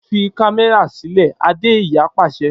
Fi kamẹra silẹAde iya paṣẹ.